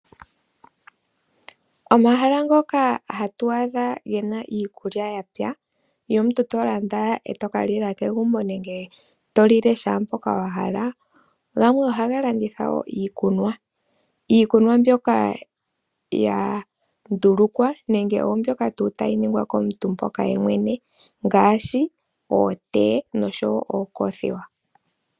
Omahala ngoka hatu adha gena iikulya yapya yomuntu to landa to kalya kegumbo nenge kehe mpoka wa hala gamwe ohaga landitha iikunwa. Iikunwa mbyoka ya ndulukwa nenge tayi ningwa komuntu ye mwene ngaashi ootea noocothiwa.